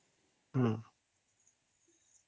noise